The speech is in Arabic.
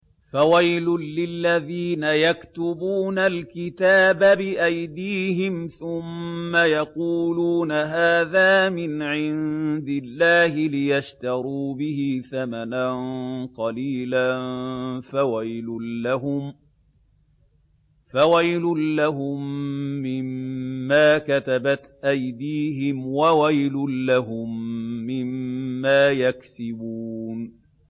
فَوَيْلٌ لِّلَّذِينَ يَكْتُبُونَ الْكِتَابَ بِأَيْدِيهِمْ ثُمَّ يَقُولُونَ هَٰذَا مِنْ عِندِ اللَّهِ لِيَشْتَرُوا بِهِ ثَمَنًا قَلِيلًا ۖ فَوَيْلٌ لَّهُم مِّمَّا كَتَبَتْ أَيْدِيهِمْ وَوَيْلٌ لَّهُم مِّمَّا يَكْسِبُونَ